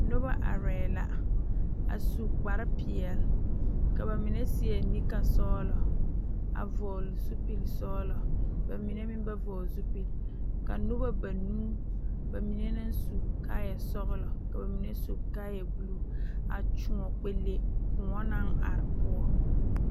Nobɔ arɛɛ la a su kparepeɛle ka ba mine seɛ nikasɔglɔ a vɔgle zupilsɔglɔ ba mine meŋ ba vɔgle zupile a nobɔ banuu ba mine naŋ su kaayɛ sɔglɔ ka ba mine su kaayɛ bluu a kyoɔ kpɛ le kõɔ naŋ are poɔ.